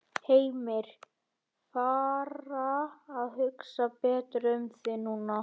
Heimir: Fara að hugsa betur um þig núna?